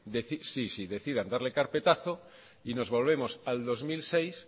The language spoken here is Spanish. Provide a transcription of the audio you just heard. decidan darle carpetazo y nos volvemos al dos mil seis